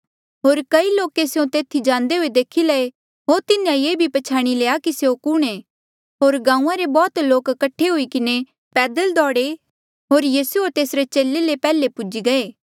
होर कई लोके स्यों तेथी जांदे हुए देखी लये होर तिन्हें ये भी पछ्याणी लया कि स्यों कुणहें होर गांऊँआं रे बौह्त लोक कठे हुई किन्हें पैदल दौड़े होर तिन्हा ले पैहले पूजी गये